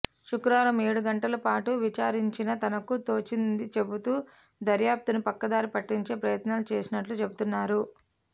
శుక్రవారం ఏడు గంటల పాటు విచారించినా తనకు తోచించిది చెబుతూ దర్యాప్తును పక్కదారి పట్టించే ప్రయత్నాలు చేసినట్లు చెబుతున్నారు